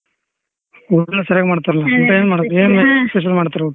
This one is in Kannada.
ಊಟಾ ಸರಿಯಾಗ್ ಮಾಡ್ತಾರಲ್ಲ ಊಟ ಏನ್ ಮಾಡೋದು ಏನ್ special ಮಾಡ್ತಿರಿ ಊಟ.